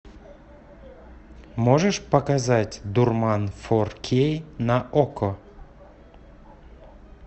можешь показать дурман фор кей на окко